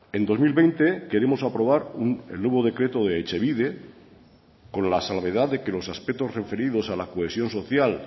en dos mil veinte queremos aprobar el nuevo decreto de etxebide con la salvedad de que los aspectos referidos a la cohesión social